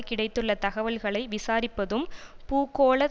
கிடைத்துள்ள தகவல்களை விசாரிப்பதும் பூகோள